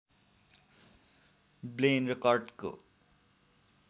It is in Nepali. ब्लेन र कर्टको